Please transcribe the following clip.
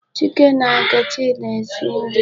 Chika na Nkechi na-esi nri